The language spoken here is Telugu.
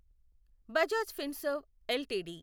బజాజ్ ఫిన్సర్వ్ ఎల్టీడీ